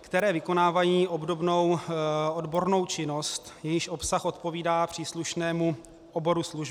které vykonávají obdobnou odbornou činnost, jejíž obsah odpovídá příslušnému oboru služby.